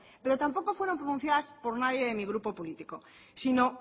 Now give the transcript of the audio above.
pero tampoco fueron pronunciadas por nadie de mi grupo político sino